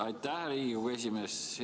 Aitäh, Riigikogu esimees!